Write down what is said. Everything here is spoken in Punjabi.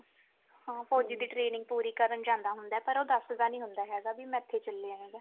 ਹਾਂ ਫੋਜੀ ਦੀ training ਪੂਰੀ ਕਰਨ ਜਾਂਦਾ ਹੋਂਦਾ ਪਰ ਉਹ ਦਸਦਾ ਨਹੀਂ ਹੋਂਦਾ ਹੇਗਾ ਬਈ ਮੈਂ ਏਥੇ ਚਲਿਆ ਹੇਗਾ